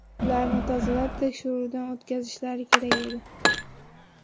Ularni tozalab, tekshiruvdan o‘tkazishlari kerak edi.